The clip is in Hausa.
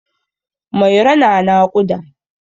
Mairo na naƙuda.